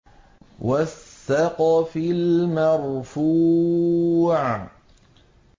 وَالسَّقْفِ الْمَرْفُوعِ